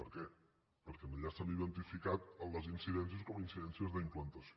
per què perquè allà s’han identificat les incidències com a incidències d’implantació